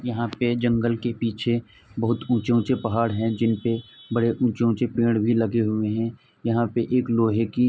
यहाँ पे जंगल के पीछे बहुत ऊंचे-ऊंचे पहाड़ हैं जिनपे बड़े ऊंचे-ऊंचे पेंड़ भी लगे हुए हैं। यहाँ पे एक लोहे की --